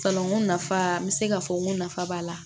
nafa n bɛ se k'a fɔ n ko nafa b'a la